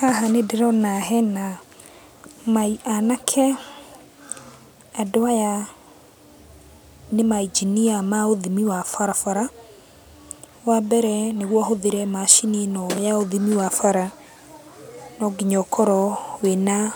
Haha nĩndĩrona hena mai anake. Andũ aya nĩ ma engineer ma ũthimi wa barabara. Wambere nĩguo ũhũthĩre macini ĩno ya ũthimi wa bara, no nginya ũkorwo wĩna